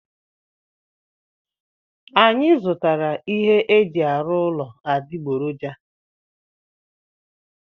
Anyị zụtara ihe eji arụ ụlọ adịgboroja.